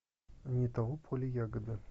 не того поля ягода